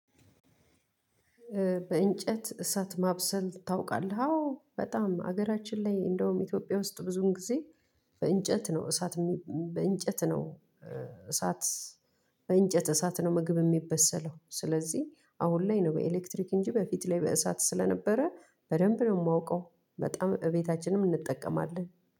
በእንጨት እሳት ማብሰል ታውቃለህ አዎ በጣም ሀገራችን ላይ እንደውም ኢትዮጵያ ውስጥ ብዙውን ጊዜ። በእንጨት ነው እሳት በእንጨት ነው እሳት በእንጨት እሳት ነው ምግብ የሚበሰለው። ስለዚህ አሁን ላይ ነው በኤሌክትሪክ እንጂ በፊት ላይ በእሳት ስለነበረ በደንብ ነው የማውቀው። በጣም እቤታችንም እንጠቀማለን።